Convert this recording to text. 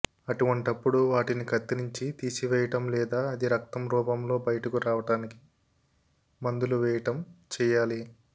అటువంటపుడు వాటిని కత్తిరించి తీసివేయటం లేదా అది రక్తం రూపంలో బయటకు రావటానికి మందులు వేయటం చేయాలి